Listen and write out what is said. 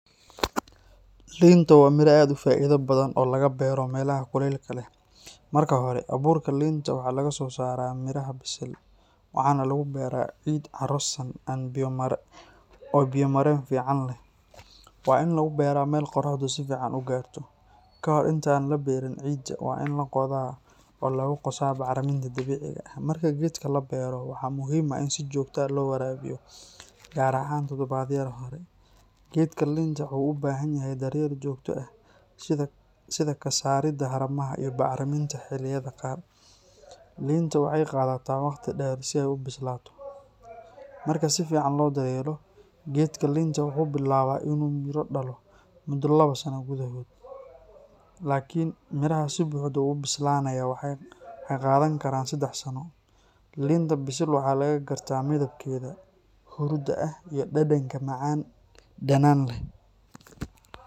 Liinta waa miro aad u faa’iido badan oo laga beero meelaha kulaylaha leh. Marka hore, abuurka liinta waxaa laga soo saaraa miraha bisil. Waxaa lagu beeraa ciid carro-san oo biyo-mareen fiican leh. Waa in lagu beeraa meel qoraxdu si fiican u gaarto. Ka hor inta aan la beerin, ciidda waa in la qoda oo lagu qaso bacriminta dabiiciga ah. Marka geedka la beero, waxaa muhiim ah in si joogto ah loo waraabiyo, gaar ahaan toddobaadyada hore. Geedka liinta wuxuu u baahan yahay daryeel joogto ah sida ka saaridda haramaha iyo bacriminta xilliyada qaar. Liinta waxay qaadataa waqti dheer si ay u bislaato. Marka si fiican loo daryeelo, geedka liinta wuxuu bilaabaa inuu miro dhalo muddo labo sano gudahood. Laakiin miraha si buuxda u bislaanaya waxay qaadan karaan saddex sano. Liinta bisil waxaa laga gartaa midabkeeda huruudda ah iyo dhadhanka macaan-dhanaan leh.